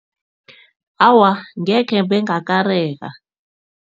Awa, ngekhe bengakareka.